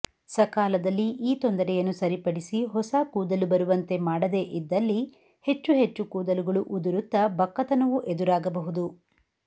ಸಕಾಲದಲ್ಲಿ ಈ ತೊಂದರೆಯನ್ನು ಸರಿಪಡಿಸಿ ಹೊಸ ಕೂದಲು ಬರುವಂತೆ ಮಾಡದೇ ಇದ್ದಲ್ಲಿ ಹೆಚ್ಚು ಹೆಚ್ಚು ಕೂದಲುಗಳು ಉದುರುತ್ತಾ ಬಕ್ಕತನವೂ ಎದುರಾಗಬಹುದು